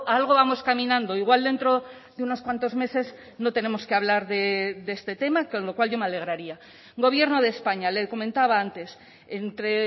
algo vamos caminando igual dentro de unos cuantos meses no tenemos que hablar de este tema con lo cual yo me alegraría gobierno de españa le comentaba antes entre